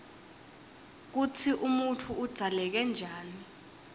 kutsi umuntfu udzaleke njani